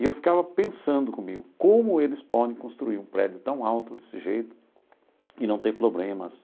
E eu ficava pensando comigo, como eles podem construir um prédio tão alto desse jeito e não ter problemas?